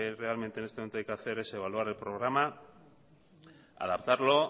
realmente en este momento hay que hacer es evaluar el programa adaptarlo